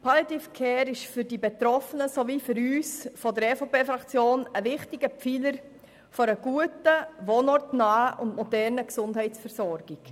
Palliative Care ist für die Betroffenen und auch für die EVP-Fraktion ein wichtiger Pfeiler einer guten, wohnortnahen und modernen Gesundheitsversorgung.